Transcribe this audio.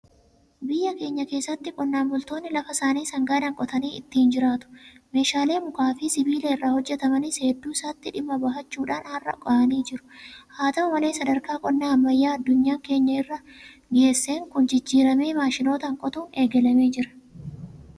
Biyya keenya keessatti qonnaan bultoonni lafa isaanii sangaadhaan qotanii ittiin jiraatu. Meeshaalee mukaafi Sibiila irraa hojjetamanis hedduu isaatti dhimma bahachuudhaan har'a gahanii jiru. Haata'u malee sadarkaa qonna ammayyaa addunyaan keenya har'a irra geesseen kun jijjiiramee maashinootaan qotuun eegalamee jira.